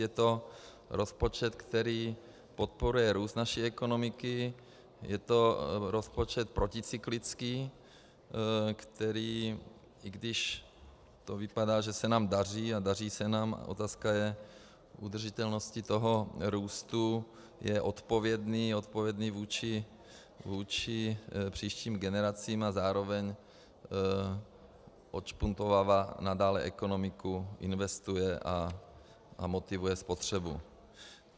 Je to rozpočet, který podporuje růst naší ekonomiky, je to rozpočet proticyklický, který, i když to vypadá, že se nám daří, a daří se nám, otázka je udržitelnosti toho růstu, je odpovědný, odpovědný vůči příštím generacím a zároveň odšpuntovává nadále ekonomiku, investuje a motivuje spotřebu.